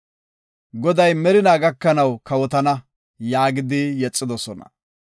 Goday merina gakanaw kawotana” yaagidi yexidosona.